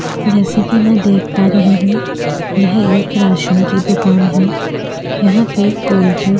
जैसा कि मैं देख पा रही हूं यह एक राशन की दुकान है। यहां पे कोलगेट --